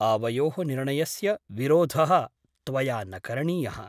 आवयोः निर्णयस्य विरोधः त्वया न करणीयः ।